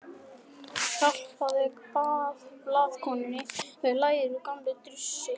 Hjálpaðu blaðakonunni við lærið, gamli drussi.